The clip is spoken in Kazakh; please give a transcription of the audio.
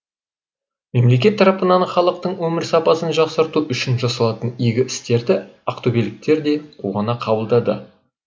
мемлекет тарапынан халықтың өмір сапасын жақсарту үшін жасалатын игі істерді ақтөбеліктер де қуана қабылдады